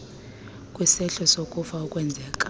kwisehlo sokufa okwenzeka